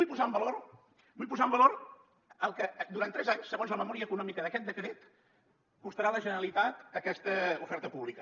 i vull posar en valor el que durant tres anys segons la memòria econòmica d’aquest decret costarà a la generalitat aquesta oferta pública